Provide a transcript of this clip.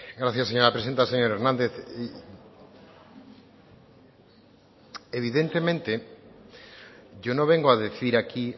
gracias señora presidenta señor hernández evidentemente yo no vengo a decir aquí